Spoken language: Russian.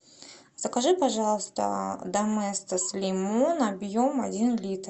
закажи пожалуйста доместос лимон объем один литр